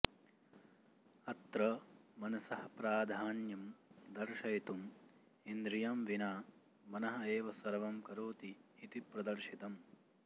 अत्र मनसः प्राधान्यं दर्शयितुम् इन्द्रियं विना मनः एव सर्वं करोति इति प्रदर्शितम्